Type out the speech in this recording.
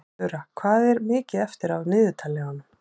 Þura, hvað er mikið eftir af niðurteljaranum?